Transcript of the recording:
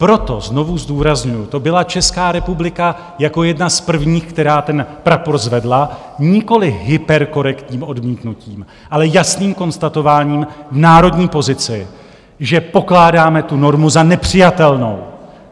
Proto znovu zdůrazňuji, to byla Česká republika jako jedna z prvních, která ten prapor zvedla nikoliv hyperkorektním odmítnutím, ale jasným konstatováním národní pozice, že pokládáme tu normu za nepřijatelnou.